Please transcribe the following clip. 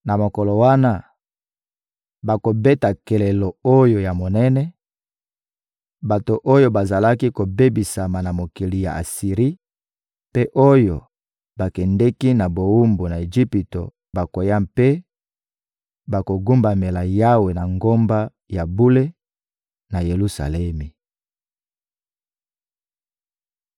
Na mokolo wana, bakobeta kelelo oyo ya monene; bato oyo bazalaki kobebisama na mokili ya Asiri mpe oyo bakendeki na bowumbu na Ejipito bakoya mpe bakogumbamela Yawe na ngomba ya bule, na Yelusalemi.